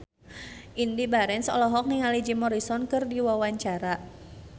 Indy Barens olohok ningali Jim Morrison keur diwawancara